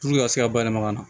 Puruke ka se ka bayɛlɛma na